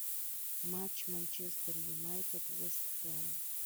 матч манчестер юнайтед вест хэм